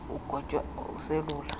umthi ugotywa uselula